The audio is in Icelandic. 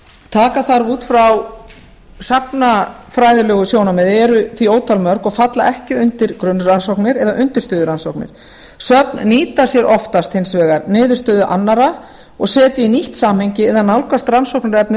taka þarf út frá safnafræðilegu sjónarmiði eru því ótal mörg og falla ekki undir grunnrannsóknir eða undirstöðurannsóknir söfn nýta sér oftast hins vegar niðurstöðu annarra og setja í nýtt samhengi eða nálgast rannsóknarefnið